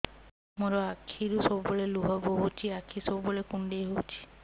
ମୋର ଆଖିରୁ ସବୁବେଳେ ଲୁହ ବୋହୁଛି ଆଖି ସବୁବେଳେ କୁଣ୍ଡେଇ ହଉଚି